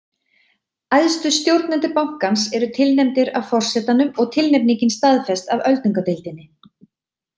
Æðstu stjórnendur bankans eru tilnefndir af forsetanum og tilnefningin staðfest af öldungadeildinni.